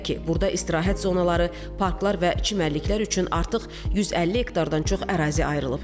Belə ki, burda istirahət zonaları, parklar və çimərliklər üçün artıq 150 hektardan çox ərazi ayrılıb.